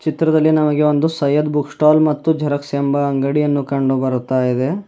ಚಿತ್ರದಲ್ಲಿ ನಮಗೆ ಒಂದು ಸಯ್ಯದ್ ಬುಕ್ ಸ್ಟಾಲ್ ಮತ್ತು ಜೆರಾಕ್ಸ್ ಎಂಬ ಅಂಗಡಿಯನ್ನು ಕಂಡು ಬರುತಾ ಇದೆ.